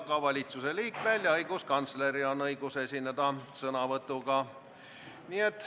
Ka valitsusliikmetel ja õiguskantsleril on õigus esineda sõnavõtuga.